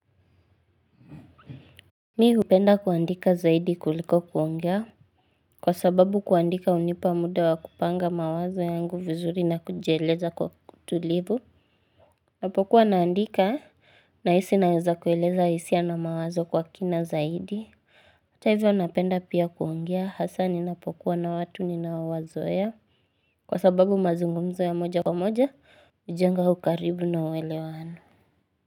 Mimi hupenda kuandika zaidi kuliko kuongea kwa sababu kuandika hunipa muda wa kupanga mawazo yangu vizuri na kujieleza kwa utulivu. Napokuwa naandika nahisi naeza kueleza hisia na mawazo kwa kina zaidi hata hivyo napenda pia kuongea hasa ninapokuwa na watu ninaowazoea. Kwa sababu mazungumzo ya moja kwa moja hujenga ukaribu na uelewano.